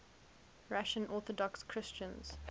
russian orthodox christians